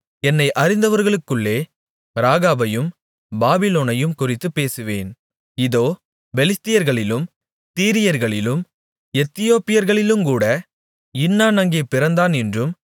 என்னை அறிந்தவர்களுக்குள்ளே ராகாபையும் பாபிலோனையும் குறித்துப் பேசுவேன் இதோ பெலிஸ்தியர்களிலும் தீரியர்களிலும் எத்தியோப்பியர்களிலுங்கூட இன்னான் அங்கே பிறந்தான் என்றும்